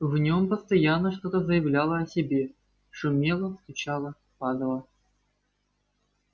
в нем постоянно что-то заявляло о себе шумело стучало падало